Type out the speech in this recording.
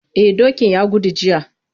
Eh dokin ya gudu jiya.